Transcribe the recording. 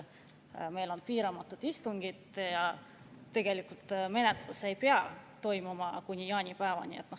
Meil on istungid piiramatu ja tegelikult see menetlus ei pea toimuma enne jaanipäeva.